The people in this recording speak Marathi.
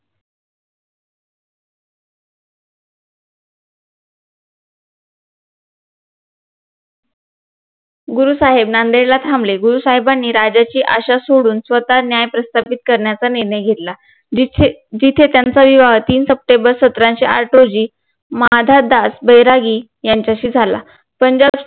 गुरु साहेब नांदेडला थांबले गुरु साहेबानी राज्याची आशा सोडून स्वतः न्याय प्रस्थापित करण्याचा निर्णय घेतला जिथे जिथे त्यांचा विवाह तीन SEPTEMBER सतराशे आठ रोजी मधादास बैरागी यांच्याशी झाला